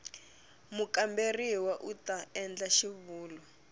mukamberiwa u ta endla xivulwa